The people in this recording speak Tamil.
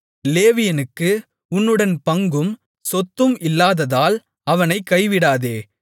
லேவியனுக்கு உன்னுடன் பங்கும் சொத்தும் இல்லாததால் அவனைக் கைவிடாதே